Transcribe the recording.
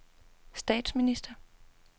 statsminister